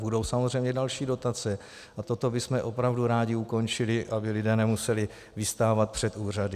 Budou samozřejmě další dotace a toto bychom opravdu rádi ukončili, aby lidé nemuseli vystávat před úřady.